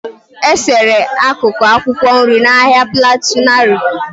E-sere akụkụ akwụkwọ nri na Ahia plateau larịị.